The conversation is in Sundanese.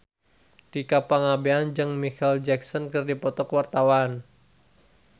Tika Pangabean jeung Micheal Jackson keur dipoto ku wartawan